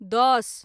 दस